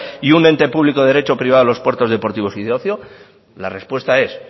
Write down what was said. y un ente público de derecho privado los puertos deportivos y de ocio la respuesta es